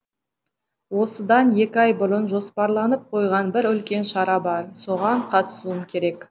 осыдан екі ай бұрын жоспарланып қойған бір үлкен шара бар соған қатысуым керек